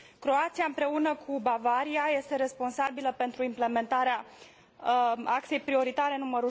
Croația, împreună cu Bavaria, este responsabilă pentru implementarea axei prioritare nr.